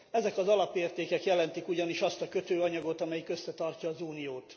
Ezek az alapértékek jelentik ugyanis azt a kötőanyagot, amelyik összetartja az Uniót.